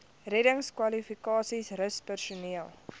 reddingskwalifikasies rus personeel